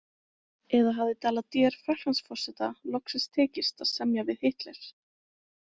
Eða hafði Daladier Frakklandsforseta loksins tekist að semja við Hitler?